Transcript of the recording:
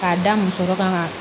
K'a da muso dɔ kan